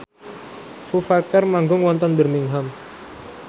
Foo Fighter manggung wonten Birmingham